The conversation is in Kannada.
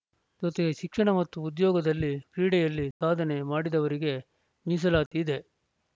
ಜೊತೆಗೆ ಶಿಕ್ಷಣ ಮತ್ತು ಉದ್ಯೋಗದಲ್ಲಿ ಕ್ರೀಡೆಯಲ್ಲಿ ಸಾಧನೆ ಮಾಡಿದವರಿಗೆ ಮೀಸಲಾತಿ ಇದೆ